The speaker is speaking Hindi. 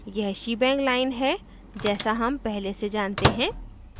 यह shebang line है जैसा हम पहले से जानते हैं